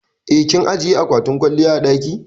Eh, kin ajiƴe aƙwatin kwalliya a daki.